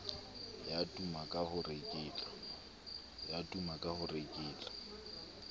ya tuma ka ho reketla